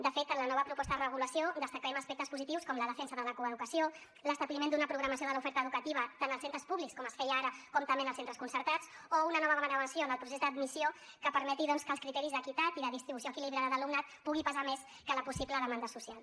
de fet en la nova proposta de regulació destaquem aspectes positius com la defensa de la coeducació l’establiment d’una programació de l’oferta educativa tant als centres públics com es feia ara com també en els centres concertats o una nova baremació en el procés d’admissió que permeti doncs que els criteris d’equitat i de distribució equilibrada d’alumnat pugui pesar més que la possible demanda social